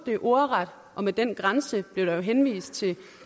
det ordret og med den grænse blev der jo henvist til